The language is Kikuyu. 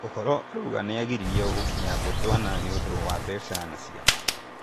Ũhoro ũrauga nĩagiririo gũkinya bũrũri wa Botswana nĩũndũ wa mbeca na ciama